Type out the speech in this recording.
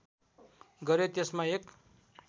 गरेँ त्यसमा एक